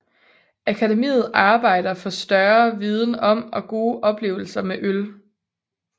Akademiet arbejder for større viden om og gode oplevelser med øl